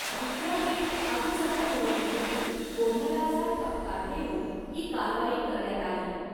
विद्यापीठ अधिसभा निवडणुकीतील गोंधळाचा ठपका ठेवून ही कारवाई करण्यात आली.